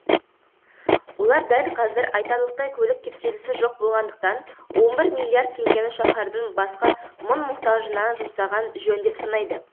олар дәл қазір айтарлықтай көлік кептелісі жоқ болғандықтан он бір миллиард теңгені шаһардың басқа мұң мұқтажына жұмсаған жөн деп санайды